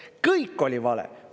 Kõik oli vale!